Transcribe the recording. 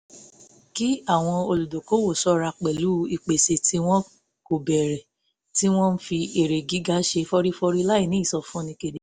kí àwọn olùdókòwò ṣọ́ra pẹ̀lú ìpèsè tí wọn kò béèrè tí wọ́n ń fi èrè gíga ṣe fọ́rífọ́rí láì ní ìsọfúnni kedere